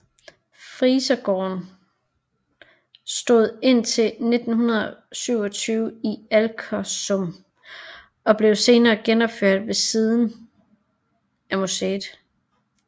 Frisergården stod indtil 1927 i Alkersum og blev senere genopført ved siden af museet